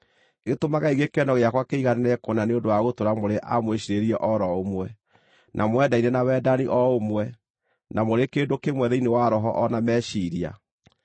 gĩtũmagei gĩkeno gĩakwa kĩiganĩre kũna nĩ ũndũ wa gũtũũra mũrĩ a mwĩciirĩrie o ro ũmwe, na mwendaine na wendani o ũmwe, na mũrĩ kĩndũ kĩmwe thĩinĩ wa roho o na meciiria.